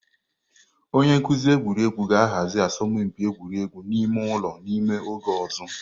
Onye nkuzi egwuregwu ga-ahazi asọmpi egwuregwu ime ụlọ n'ime oge ọzọ.